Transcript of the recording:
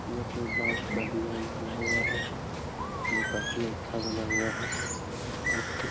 ये कोइ बास का डिजाईन किया हुआ है ये काफ़ी अच्छा बना हुअ है बस के--